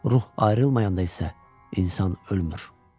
Ruh ayrılmayanda isə insan ölmür.